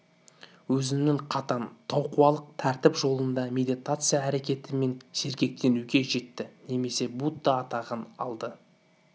өзінің қатаң таукуалық тәртіп жолында медитация әрекеті мен сергектенуге жетті немесе будда атағын алды